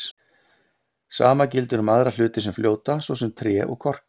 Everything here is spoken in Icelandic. Sama gildir um aðra hluti sem fljóta, svo sem tré og korka.